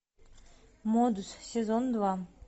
модус сезон два